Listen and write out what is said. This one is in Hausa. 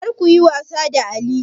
Kar ku yi wasa da alli!